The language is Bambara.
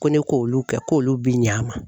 Ko ne k'olu kɛ k'olu bɛ ɲ'a ma.